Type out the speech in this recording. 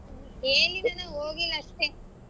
ಕೇಳಿದೇನೆ ಹೋಗಿಲ್ಲ ಅಷ್ಟೆ.